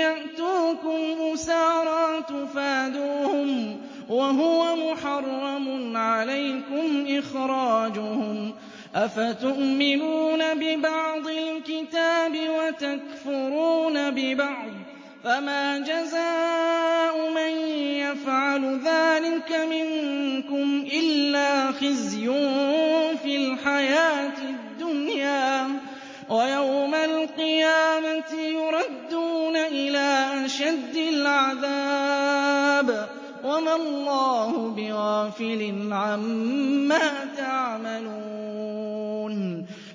يَأْتُوكُمْ أُسَارَىٰ تُفَادُوهُمْ وَهُوَ مُحَرَّمٌ عَلَيْكُمْ إِخْرَاجُهُمْ ۚ أَفَتُؤْمِنُونَ بِبَعْضِ الْكِتَابِ وَتَكْفُرُونَ بِبَعْضٍ ۚ فَمَا جَزَاءُ مَن يَفْعَلُ ذَٰلِكَ مِنكُمْ إِلَّا خِزْيٌ فِي الْحَيَاةِ الدُّنْيَا ۖ وَيَوْمَ الْقِيَامَةِ يُرَدُّونَ إِلَىٰ أَشَدِّ الْعَذَابِ ۗ وَمَا اللَّهُ بِغَافِلٍ عَمَّا تَعْمَلُونَ